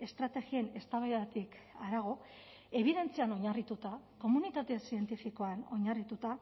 estrategien eztabaidatik harago ebidentzian oinarrituta komunitate zientifikoan oinarrituta